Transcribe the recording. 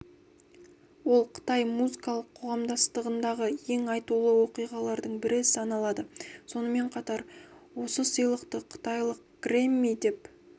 ол қытай музыкалық қоғамдастығындағы ең айтулы оқиғалардың бірі саналады сонымен қатар осы сыйлықты қытайлық грэмми деп